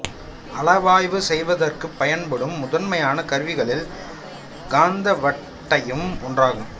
அளவாய்வு செய்வதற்குப் பயன்படும் முதன்மையான கருவிகளில் காந்த வட்டையும் ஒன்றாகும்